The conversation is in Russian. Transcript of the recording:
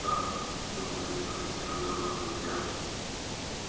вот так удовлетворительно говорю я